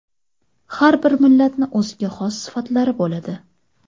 Har bir millatni o‘ziga xos sifatlari bo‘ladi.